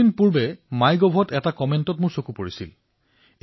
কিছুদিন পূৰ্বে MyGov এটা মন্তব্য মোৰ চকুত পৰিল